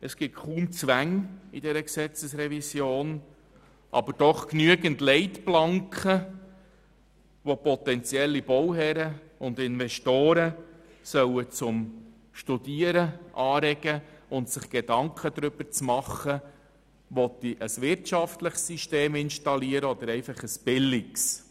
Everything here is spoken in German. Es gibt dabei kaum Zwänge, aber doch genügend Leitplanken, welche potenzielle Bauherren und Investoren zum Nachdenken anregen sollen, ob man ein wirtschaftliches System installieren will oder einfach ein billiges.